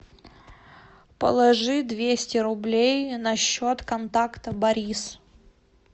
положи двести рублей на счет контакта борис